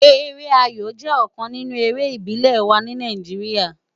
Ere áyó jè òkán ninú éré ibilé wá ni Náijiriá